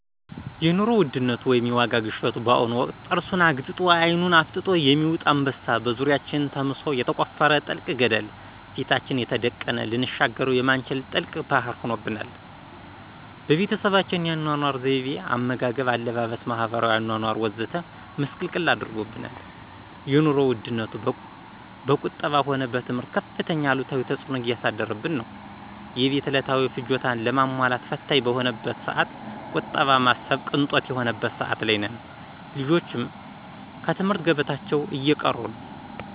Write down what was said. የኑሮ ውድነት ወይም የዋጋ ግሽበት በአሁኑ ወቅት ጥርሱን አግጥጦ አይኑን አፍጥጦ የሚውጥ አንበሳ፣ በዙሪያችን ተምሶ የተቆፈረ ጥልቅ ገደለ፣ ፊታችን የተደቀነ ልንሻገረው የማንችል ጥልቅ ባህር ሆኖብናል። በቤተሰባችን የአኗኗር ዘይቤ፣ አመጋገብ፣ አለባበስ፣ ማህበራዊ አኗኗር ወዘተ ምስቅልቅል አድርጎብናል። የኑሮ ውድነቱ በቁጠባ ሆነ በትምህርት ከፍተኛ አሉታዊ ተፅዕኖ እያሳደረብን ነው። የቤት ዕለታዊ ፍጆታን ለማሟላት ፈታኝ በሆነበት ሰዓት ቁጠባ ማሰብ ቅንጦት የሆነበት ሰዓት ላይ ነን። ልጆችም ከትምህርት ገበታቸው እየቀሩ ነው።